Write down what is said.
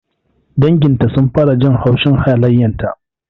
Dangin ta sun fara jin haushin halayenta